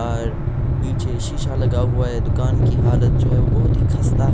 और पीछे शीशा लगा हुआ हैं दुकान की हालत जो हैं बहुत ही खस्ता--